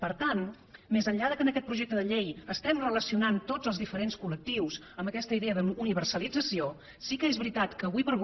per tant més enllà que en aquest projecte de llei estiguem relacionant tots els diferents col·lectius amb aquesta idea d’universalització sí que és veritat que ara com ara